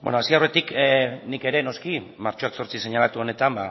hasi aurretik nik ere noski martxoak zortzi seinalatu honetan